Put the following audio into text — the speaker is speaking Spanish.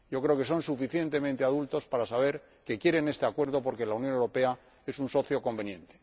Creo que son suficientemente adultos para saber que quieren este Acuerdo porque la Unión Europea es un socio conveniente.